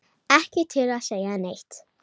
Ekki til að segja neitt.